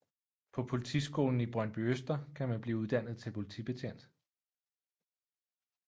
På Politiskolen i Brøndbyøster kan man blive uddannet til politibetjent